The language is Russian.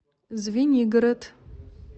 звенигород